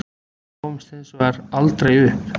Við gáfumst hins vegar aldrei upp